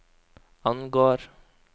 angår